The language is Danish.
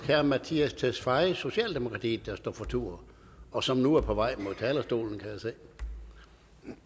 herre mattias tesfaye socialdemokratiet der står for tur og som nu er på vej mod talerstolen